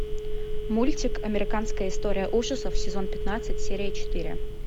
мультик американская история ужасов сезон пятнадцать серия четыре